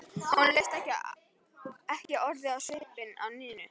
Honum leist ekki orðið á svipinn á Nínu.